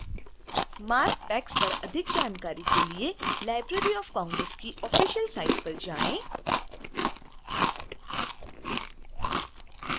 marc tags पर अधिक जानकारी के लिए library of congress की ऑफिसियल साइट पर जाएं